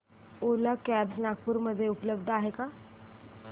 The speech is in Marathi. ओला कॅब्झ नागपूर मध्ये उपलब्ध आहे का